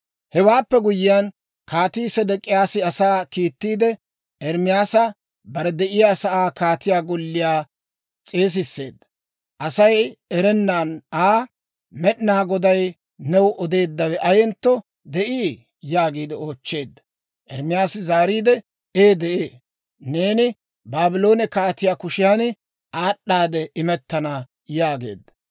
Hewaappe guyyiyaan, Kaatii Sedek'iyaasi asaa kiittiide, Ermaasa bare de'iyaasaa kaatiyaa golliyaa s'eesisseedda; Asay erennan Aa, «Med'inaa Goday new odeeddawe ayentto de'ii?» yaagiide oochcheedda. Ermaasi zaariide, «Ee de'ee; neeni Baabloone kaatiyaa kushiyan aad'd'aade imettana» yaageedda.